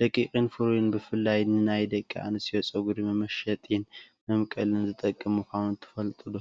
ደቂቅን ፍሩይን ብፍላይ ንናይ ደቂ ኣንስትዮ ፀጉሪ መመሸጢን መምቀልን ዝጠቅም ምኳኑ ትፈልጡ ዶ?